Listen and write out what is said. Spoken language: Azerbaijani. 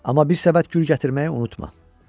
Amma bir səbət gül gətirməyi unutma.